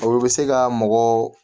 O bɛ se ka mɔgɔ